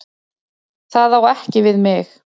Það á ekki við mig.